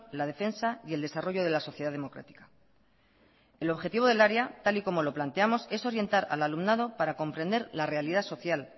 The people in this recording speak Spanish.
la defensa y el desarrollo de la sociedad democrática el objetivo del área tal y como lo planteamos es orientar al alumnado para comprender la realidad social